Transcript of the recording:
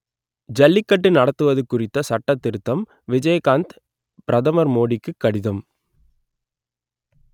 ஜல்லிக்கட்டு நடத்துவது குறித்த சட்ட திருத்தம் விஜயகாந்த் பிரதமர் மோடிக்கு கடிதம்